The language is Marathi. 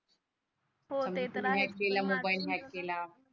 केला मोबाइल हॅकक केला पण माझ्यातून तस